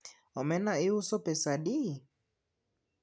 omena iuso pesadi?